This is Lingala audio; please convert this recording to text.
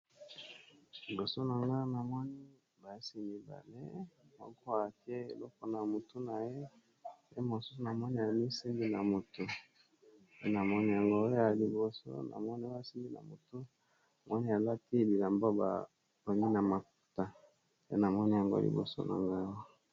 Liboso na nga na moni basi mibale, moko atye eloko na mutu na ye, pe mosusu na mamoni amisimbi na mutu, pe namoni yango, ya liboso namoni oyo amisimbi na motu namoni alaki bilamba batongi na maputa, pe namoni yango ya liboso na nga awa.